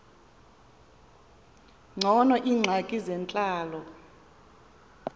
ngcono iingxaki zentlalo